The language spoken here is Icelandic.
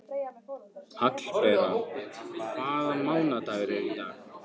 Hallbera, hvaða mánaðardagur er í dag?